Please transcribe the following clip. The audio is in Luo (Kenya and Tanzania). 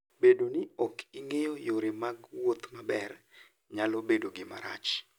Bedo ni ok ing'eyo yore mag wuoth maber, nyalo bedo gima tek.